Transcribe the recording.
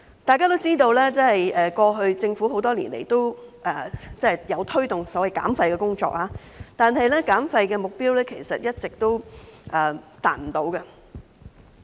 大家也知道，政府過去多年也有推動所謂減廢的工作，但減廢目標其實一直未能達到。